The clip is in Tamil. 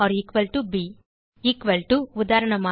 ஆ gt ப் எக்குவல் to உதாரணமாக